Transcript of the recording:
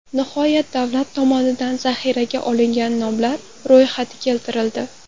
Nihoyat, davlat tomonidan zaxiraga olingan nomlar ro‘yxati keltirildi.